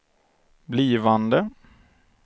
blivande